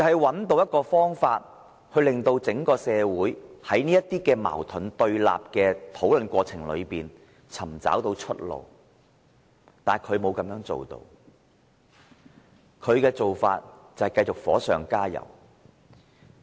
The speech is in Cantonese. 便是找出方法，令整個社會在這些矛盾對立的討論過程中找到出路，但他沒有這樣做，他的做法是繼續火上加油。